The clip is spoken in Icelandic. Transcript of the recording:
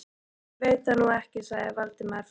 Ég veit það nú ekki sagði Valdimar efins.